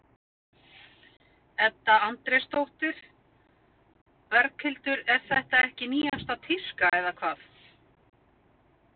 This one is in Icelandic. Edda Andrésdóttir: Berghildur er þetta ekki nýjasta tíska eða hvað?